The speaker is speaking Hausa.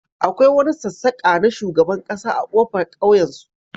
akwai wani sassaka na shugaban kasa a kofar kauyensu